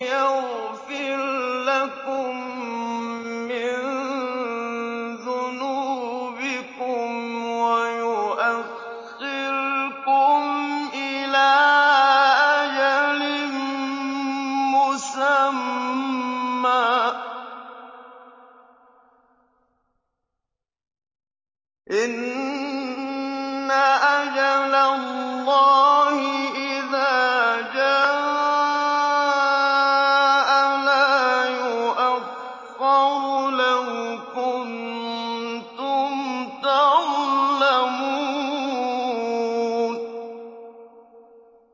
يَغْفِرْ لَكُم مِّن ذُنُوبِكُمْ وَيُؤَخِّرْكُمْ إِلَىٰ أَجَلٍ مُّسَمًّى ۚ إِنَّ أَجَلَ اللَّهِ إِذَا جَاءَ لَا يُؤَخَّرُ ۖ لَوْ كُنتُمْ تَعْلَمُونَ